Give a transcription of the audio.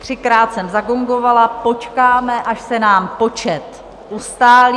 Třikrát jsem zagongovala, počkáme, až se nám počet ustálí.